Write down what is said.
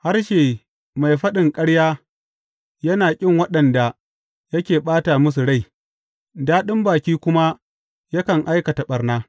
Harshe mai faɗin ƙarya yana ƙin waɗanda yake ɓata musu rai, daɗin baki kuma yakan aikata ɓarna.